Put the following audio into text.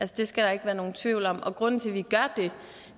det skal der ikke være nogen tvivl om og grunden til at vi gør